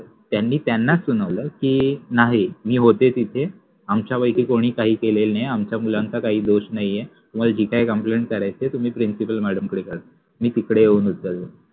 त्यानि त्यानाच सुनवल कि नाहि मि होते तिथे, आम्च्यापैकि कोणिच काहि केलेल नाहि, आम्च्या मुलांचा काहि दोष नाहि आहे. तुम्हाला जे काहि complaint करायचि असेल ते प्रिंसिपल मॅडम कडे करा, मि तिकडे येऊनच कळवेन